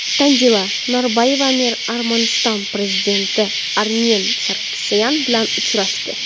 Tanzila Norboyeva Armaniston prezidenti Armen Sarkisyan bilan uchrashdi.